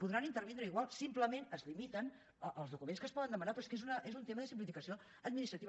podran intervindre igual simplement es limiten els documents que es poden demanar però és que és un tema de simplificació administrativa